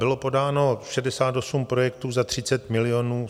Bylo podáno 68 projektů za 30 milionů.